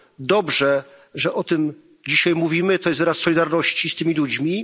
Dobrze, że o tym dzisiaj mówimy, to jest wyraz solidarności z tymi ludźmi.